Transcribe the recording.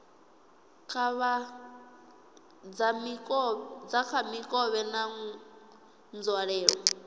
dza kha mikovhe na nzwalelo